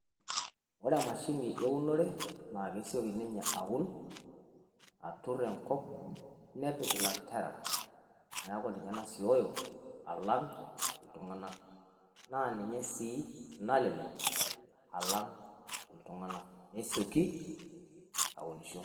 Ore emashini eunore na keshooki ninye auun aturrur enkop nepiik lantaara naaku ninye naisooyo alang' iltung'anak. Naa ninye sii nalelek alang' iltung'anak neisooki aunusho.